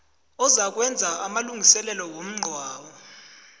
ozakwenza amalungiselelo womngcwabo